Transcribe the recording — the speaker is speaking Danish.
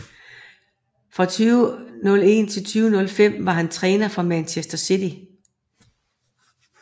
Fra 2001 til 2005 var han træner for Manchester City